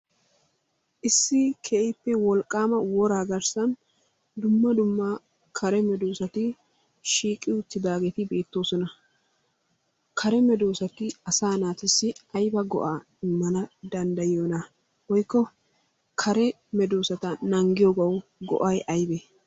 Issi keehippe wolqqaama woraa garssan dumma dumma kare medoossati shiiqi uttidaageeti beettoosona. kare medossati asaa naatussi ayiba go'aa immana danddayiyonaa? woykko kare medoossata naagiyogawu go'ay ayibee?